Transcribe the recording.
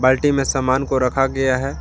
अल्टी में सामान को रखा गया है।